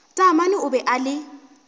taamane o be a le